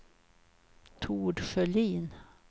Tord Sjölin